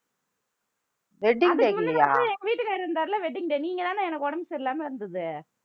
அதுக்கு முந்தின வருஷம் எங்க வீட்டுக்காரர் இருந்தாரு இல்ல wedding day நீங்க தானே எனக்கு உடம்பு சரி இல்லாம இருந்தது